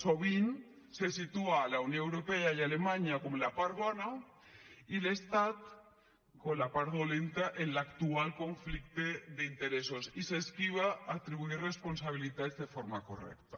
sovint se situa la unió europea i alemanya com la part bona i l’estat com la part dolenta en l’actual conflicte d’interessos i s’esquiva atribuir responsabilitats de forma correcta